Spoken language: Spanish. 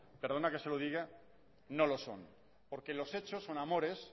perdona que se lo diga no lo son porque los hechos son amores